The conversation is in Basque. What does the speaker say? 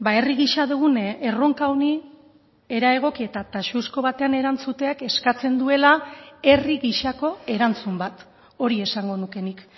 herri gisa dugun erronka honi era egoki eta taxuzko batean erantzuteak eskatzen duela herri gisako erantzun bat hori esango nuke nik